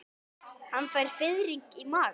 Hann fær fiðring í magann.